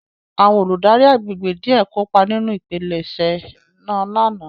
Àwọn oludari àgbégbé diẹ kopa ninu ipilẹṣẹ naa lana